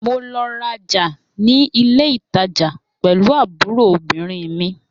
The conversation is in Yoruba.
Mo lọ raja ni ile itaja pẹlu aburo obirin mi.